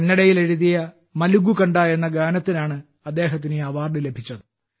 കന്നഡയിൽ എഴുതിയ മലഗു കണ്ട എന്ന ഗാനത്തിനാണ് അദ്ദേഹത്തിന് ഈ അവാർഡ് ലഭിച്ചത്